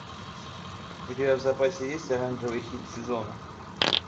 у тебя в запасе есть оранжевый хит сезона